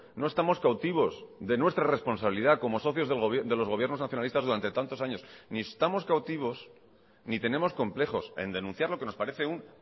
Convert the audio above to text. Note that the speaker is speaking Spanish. no estamos cautivos de nuestra responsabilidad como socios de los gobiernos nacionalistas durante tantos años ni estamos cautivos ni tenemos complejos en denunciar lo que nos parece un